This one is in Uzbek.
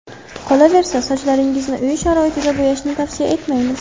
Qolaversa, sochlaringizni uy sharoitida bo‘yashni tavsiya etmaymiz.